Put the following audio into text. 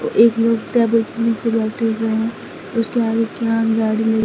एक लोग क्या बोलते हैं नीचे बैठे हुए हैं उसके आगे क्या गाड़ी लड़ी--